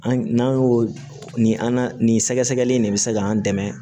An n'an y'o nin an na nin sɛgɛsɛgɛli in de bɛ se k'an dɛmɛ